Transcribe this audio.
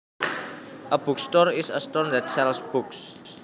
A bookstore is a store that sells books